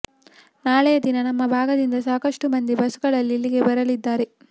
ನಾಳೆಯ ದಿನ ನಮ್ಮ ಭಾಗದಿಂದ ಸಾಕಷ್ಟು ಮಂದಿ ಬಸ್ಸುಗಳಲ್ಲಿ ಇಲ್ಲಿಗೆ ಬರಲಿದ್ದಾರೆ